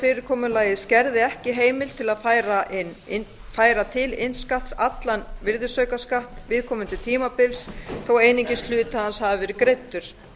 fyrirkomulagið skerði ekki heimild til að færa til innskatt allan virðisaukaskatt viðkomandi tímabils þó að einungis hluti hans hafi verið greiddur